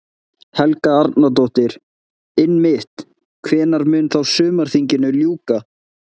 Helga Arnardóttir: Einmitt, hvenær mun þá sumarþinginu ljúka?